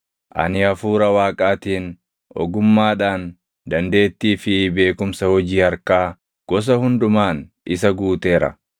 ani Hafuura Waaqaatiin, ogummaadhaan, dandeettii fi beekumsa hojii harkaa gosa hundumaan isa guuteera;